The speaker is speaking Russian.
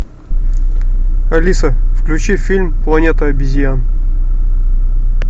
алиса включи фильм планета обезьян